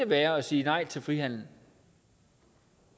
være at sige nej til frihandel